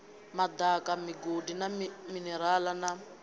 madaka migodi na minerale na